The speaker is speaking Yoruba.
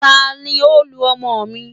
tani o lu ọmọ mi?